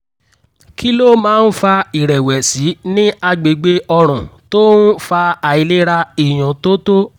kí ló máa ń fa ìrẹ̀wẹ̀sì ní agbègbè ọrùn tó ń fa àìlera ìyúntótó?